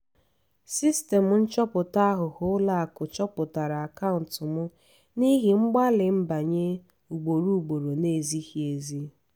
sistemụ nchọpụta aghụghọ ụlọakụ chọpụtara akaụntụ m n’ihi mgbalị nbanye ugboro ugboro na-ezighi ezi.